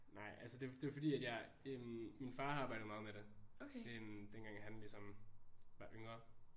Nej altså det det fordi at jeg øh min far har arbejdet meget med det øh dengang at han ligesom var yngre